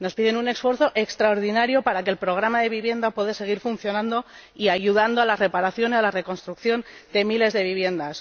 Nos piden un esfuerzo extraordinario para que el programa de vivienda pueda seguir funcionando y ayudando a la reparación y a la reconstrucción de miles de viviendas.